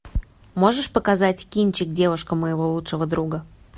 можешь показать кинчик девушка моего лучшего друга